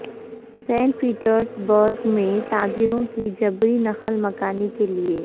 Saint Petersburg میں تاجروں کی جبری نقل مکانی کے لئے